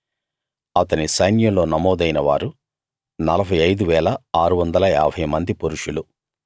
అతని సైన్యంలో నమోదైన వారు 45 650 మంది పురుషులు